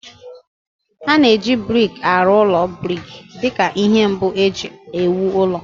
A na-eji brik arụ ụlọ brik dị ka ihe mbụ e ji ewu ụlọ